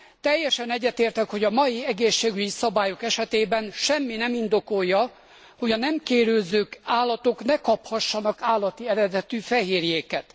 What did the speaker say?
Teljesen egyetértek, hogy a mai egészségügyi szabályok esetében semmi nem indokolja, hogy a nem kérődző állatok ne kaphassanak állati eredetű fehérjéket.